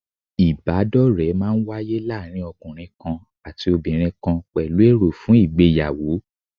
Ìbádọ́ọ̀rẹ́ máa n wáyé láàárín ọkùnrin kan àti obìnrin kan pẹ̀lú èrò fún ìgbéyàwó